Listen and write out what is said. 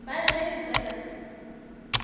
ba lle ditseka tša ka